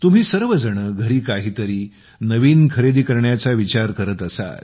तुम्ही सर्वजण घरी काहीतरी नवीन खरेदी करण्याचा विचार करत असाल